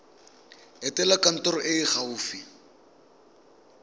etela kantoro e e gaufi